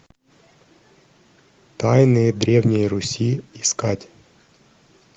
тайны древней руси искать